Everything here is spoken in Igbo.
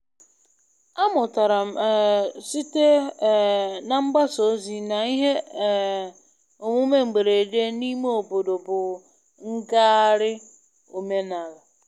Amụtara m um site um na mgbasa ozi na ihe um omume mberede n'ime obodo bụ ngagharị omenala.